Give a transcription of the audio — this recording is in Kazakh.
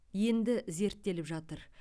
енді зерттеліп жатыр